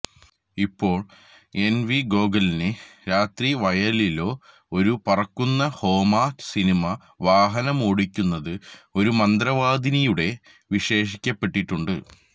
ഇപ്പോഴും N V ഗോഗലിനെ രാത്രി വയലിലോ ഒരു പറക്കുന്ന ഹൊമ സിനിമ വാഹനമോടിക്കുന്നത് ഒരു മന്ത്രവാദിനിയുടെ വിശേഷിക്കപ്പെട്ടിട്ടുണ്ട്